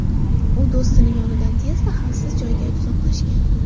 U do‘stining yonidan tezda xavfsiz joyga uzoqlashgan.